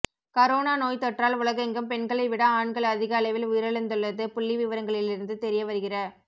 corona நோய்த்தொற்றால் உலகெங்கும் பெண்களைவிட ஆண்கள் அதிக அளவில் உயிரிழந்துள்ளது புள்ளிவிவரங்களிலிருந்து தெரியவருகிற